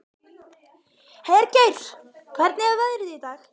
Hergeir, hvernig er veðrið í dag?